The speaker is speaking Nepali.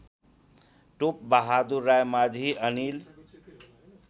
टोपबहादुर रायमाझी अनिल